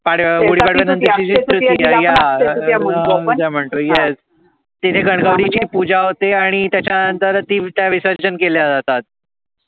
तृतिया म्हणतो आपण Yes गण गौरी ची पूजा होते आणी त्याच्या नंतर ती विटा विसर्जन केल्या जातात